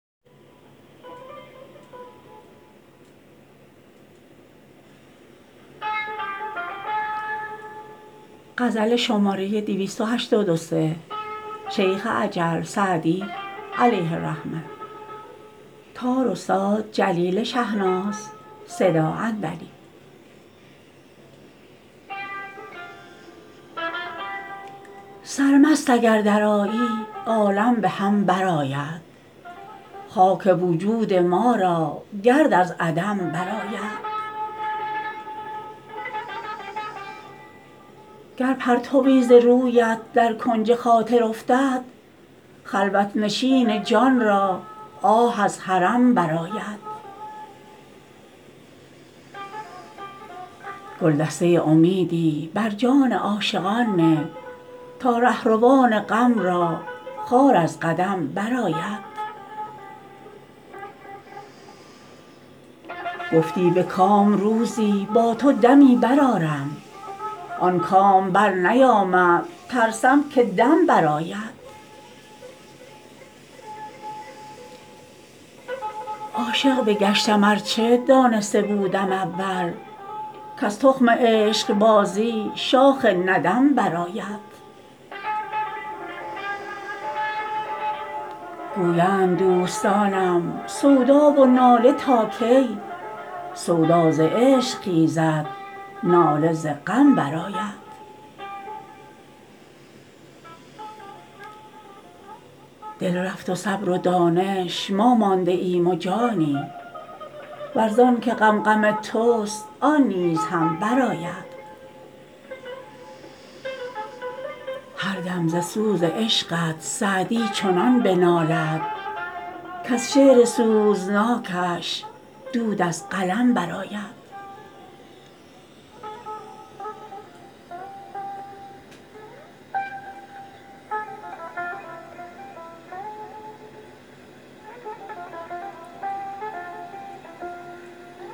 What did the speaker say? سرمست اگر درآیی عالم به هم برآید خاک وجود ما را گرد از عدم برآید گر پرتوی ز رویت در کنج خاطر افتد خلوت نشین جان را آه از حرم برآید گلدسته امیدی بر جان عاشقان نه تا رهروان غم را خار از قدم برآید گفتی به کام روزی با تو دمی برآرم آن کام برنیامد ترسم که دم برآید عاشق بگشتم ار چه دانسته بودم اول کز تخم عشقبازی شاخ ندم برآید گویند دوستانم سودا و ناله تا کی سودا ز عشق خیزد ناله ز غم برآید دل رفت و صبر و دانش ما مانده ایم و جانی ور زان که غم غم توست آن نیز هم برآید هر دم ز سوز عشقت سعدی چنان بنالد کز شعر سوزناکش دود از قلم برآید